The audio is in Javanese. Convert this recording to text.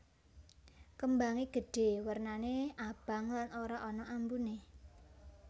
Kembangé gedhé wernané abang lan ora ana ambuné